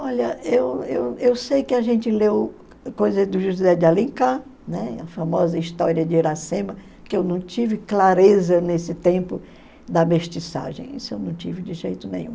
Olha, eu eu eu sei que a gente leu coisas do José de Alencar, né, famosa história de Iracema, que eu não tive clareza nesse tempo da mestiçagem, isso eu não tive de jeito nenhum.